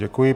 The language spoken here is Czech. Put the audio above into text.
Děkuji.